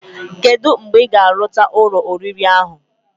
Kedu mgbe ig arucha Ụlọ oriri ahu?